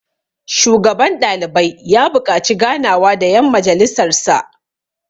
shugaban ɗalibai ya buƙaci ganawa da yan majjalisarsa